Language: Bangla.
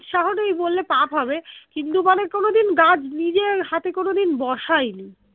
উৎসাহ নেই বললে পাপ হবে কিন্তু মানে কোনোদিন গাছ নিজের হাতে কোনোদিন বসাইনি